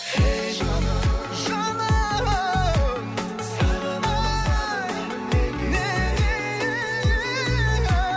ей жаным жаным сағынамын сағынамын неге неге